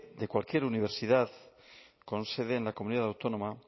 de cualquier universidad con sede en la comunidad autónoma